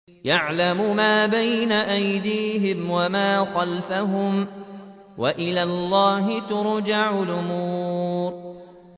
يَعْلَمُ مَا بَيْنَ أَيْدِيهِمْ وَمَا خَلْفَهُمْ ۗ وَإِلَى اللَّهِ تُرْجَعُ الْأُمُورُ